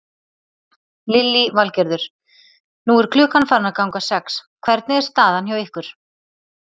Lillý Valgerður: Nú er klukkan farin að ganga sex, hvernig er staðan hjá ykkur?